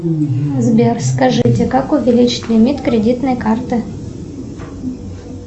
сбер скажите как увеличить лимит кредитной карты